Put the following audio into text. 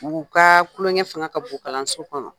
U ka kulonkɛ fanga ka bon kalanso kɔnɔ,